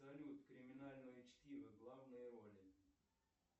салют криминальное чтиво главные роли